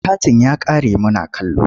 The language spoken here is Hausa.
Katin ya ƙare muna kallo.